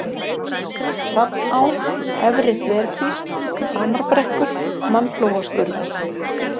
Hrafná, Efri-Þverkvísl, Hamarbrekkur, Mannflóaskurður